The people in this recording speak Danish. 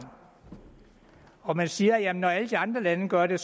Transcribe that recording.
og man siger jamen når alle de andre lande gør det